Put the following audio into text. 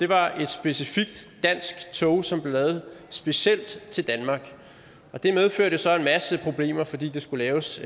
var et specifikt dansk tog som blev lavet specielt til danmark og det medførte jo så en masse problemer fordi det skulle laves